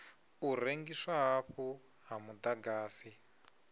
u rengiswa hafhu ha muḓagasi